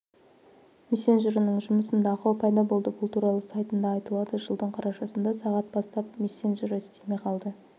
мессенджерінің жұмысында ақау пайда болды бұл туралы сайтында айтылады жылдың қарашасында сағат бастап мессенджері істемей қалды